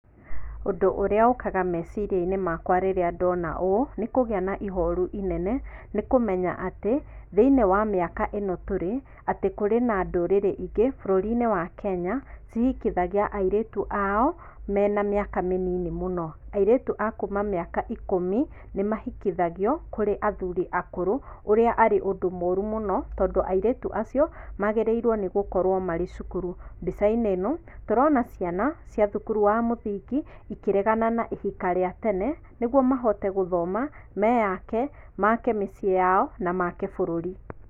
Ũndũ ũrĩa ũkaga meciria-inĩ makwa rĩrĩa ndona ũũ nĩkũgĩa na ihoru inene, nĩkũmenya atĩ, thĩinĩ wa mĩaka ĩno tũrĩ, atĩ kũrĩ na ndũrĩrĩ ingĩ bũrũri-inĩ wa Kenya, cihikithagia airĩtu ao mena mĩaka mĩnini mũno. Airĩtu a kuma mĩaka ikũmi, nĩmahikithagio kũrĩ athuri akũrũ, ũrĩa arĩ ũndũ mũru mũno, tondũ airĩtu acio magĩrĩirwo nĩgũkorwo marĩ cukuru. Mbica-inĩ ĩno, tũrona ciana cia thukuru wa mũthingi ikĩregana na ihika rĩa tene, nĩguo mahote gũthoma meyake, maake mĩciĩ yao na maake bũrũri.